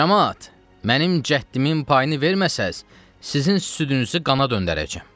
Camaat, mənim cəddimin payını verməsəniz, sizin südünüzü qana döndərəcəm.